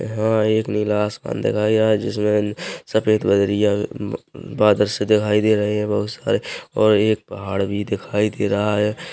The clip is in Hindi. यहाँ एक नीला आसमान दिखाई दे रहा है जिसमें सफेद बदरिया बादल से दिखाई दे रहे है बहुत सारे और एक पहाड़ भी दिखाई दे रहा हैं।